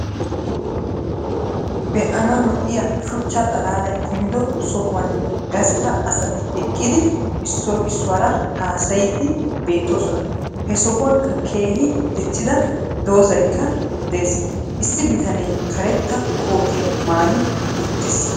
be'anawu lo'iya shuchchaa xalaalay kumiddo sohuwan gastta asati eqqidi issoy issuwara haassayddi beettosona. he sohuwankka keehi diccida doozaykka de'es. issi bitaane kareeta kootiyaa mayii uttis.